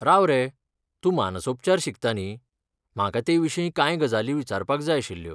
राव रे, तूं मानसोपचार शिकता न्ही, म्हाका ते विशीं कांय गजाली विचारपाक जाय आशिल्ल्यो.